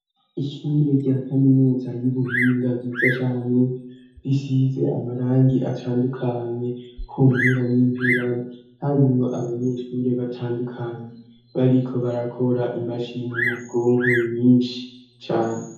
Ishure rya kaminuza y'ubuhinga ryiza cane risize amarangi atandukanye ku mpera n'impera harimwo abanyeshure batandukanye bariko barakora imashini nyabwonko nyinshi cane.